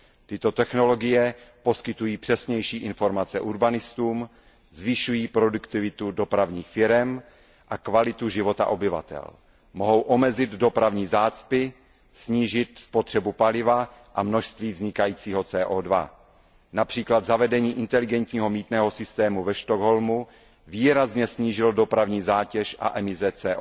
Tyto technologie poskytují přesnější informace urbanistům, zvyšují produktivitu dopravních firem a kvalitu života obyvatel. Mohou omezit dopravní zácpy, snížit spotřebu paliva a množství vznikajícího CO 2 Například zavedení inteligentního mýtného systému ve Stockholmu výrazně snížilo dopravní zátěž a emise CO